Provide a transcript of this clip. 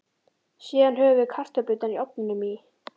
Síðan höfum við kartöflurnar í ofninum í